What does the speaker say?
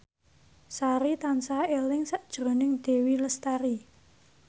Sari tansah eling sakjroning Dewi Lestari